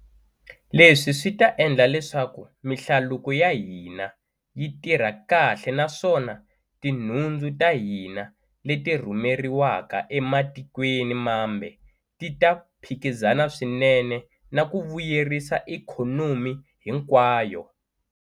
Leswi swi ta endla leswaku mihlaluko ya hina yi tirha kahle naswona tinhundzu ta hina leti rhumeriwaka ematikweni mambe ti ta phikizana swinene, na ku vuyerisa ikhonomi hinkwayo.